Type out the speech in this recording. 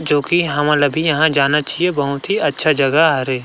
जो कि हमन अभी यहाँ जाना चाहिए बहुत ही अच्छा जगह हरे।